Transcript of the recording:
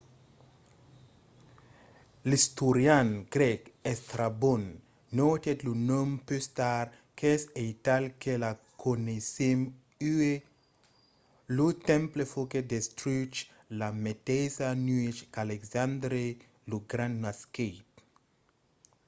l'istorian grèc estrabon notèt lo nom pus tard qu'es aital que lo coneissèm uèi. lo temple foguèt destruch la meteissa nuèch qu'alexandre lo grand nasquèt